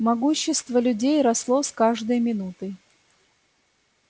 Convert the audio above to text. могущество людей росло с каждой минутой